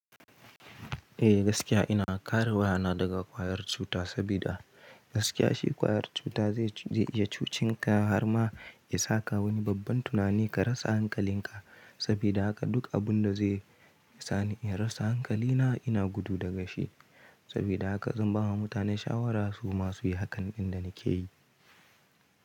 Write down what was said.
Eh gaskiya ina kare wayana daga ƙwayar cuta, saboda gaskiya shi ƙwayar cuta zai iya cuci ka har ma ya saka wani babban tunani ka rasa hankalin ka. Saboda haka duk abun da zai sani in rasa hankali na, ina gudu da shi. Saboda haka zan bawa mutane shawara su masu yi hakan inda nake yi.